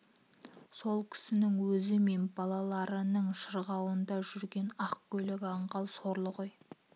сол кісінің өзі мен балаларының шылауында жүрген ақ көйлек аңғал сорлы ғой